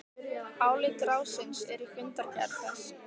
Álit ráðsins er í fundargerð þess